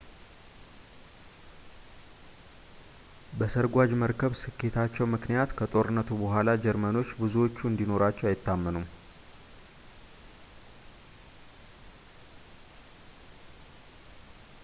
በሰርጓጅ መርከብ ስኬታቸው ምክንያት ከጦርነቱ በኋላ ጀርመኖች ብዙዎቹን እንዲኖራቸው አይታመኑም